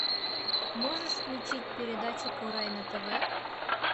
можешь включить передачу курай на тв